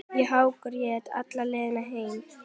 Ég hágrét alla leiðina heim.